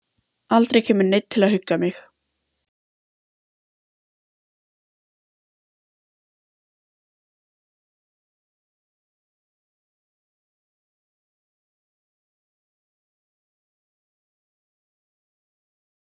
Ígor, hvaða mánaðardagur er í dag?